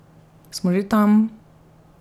Smo že tam!